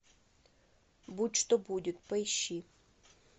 будь что будет поищи